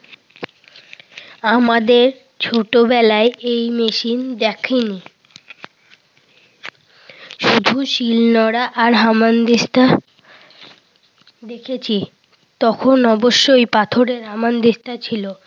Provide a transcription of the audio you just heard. আমাদের ছোটবেলায় এই মেশিন দেখিনি। শুধু শিল নোড়া আর হামানদিস্তা দেখেছি। তখন অবশ্য পাথেরের হামান দিস্তা ছিল।